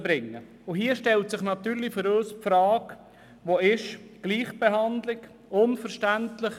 Für uns stellt sich natürlich die Frage, wo denn die Gleichbehandlung bleibt.